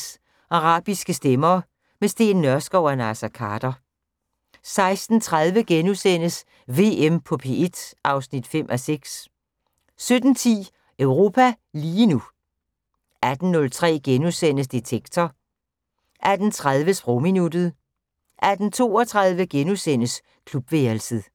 16:03: Arabiske stemmer - med Steen Nørskov og Naser Khader * 16:30: VM på P1 (5:6)* 17:10: Europa lige nu 18:03: Detektor * 18:30: Sprogminuttet 18:32: Klubværelset *